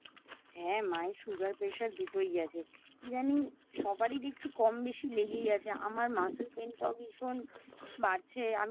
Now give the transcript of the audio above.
হ্যা মায়ের Sugar Pressure দুটোই আছে কি জানি সবারই দেখছি কম বেশি লেগেই আছে আমার Muscle pain টাও ভীষণ বাড়ছে